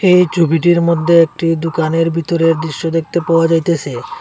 এই ছবিটির মধ্যে একটি দোকানের ভিতরের দৃশ্য দেখতে পাওয়া যাইতাছে।